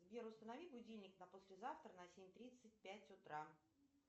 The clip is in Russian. сбер установи будильник на послезавтра на семь тридцать пять утра